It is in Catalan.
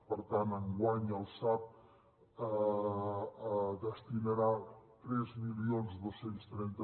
per tant enguany el sab destinarà tres mil dos cents i trenta